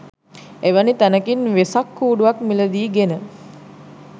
එවැනි තැනකින් වෙසක් කූඩුවක් මිලදී ගෙන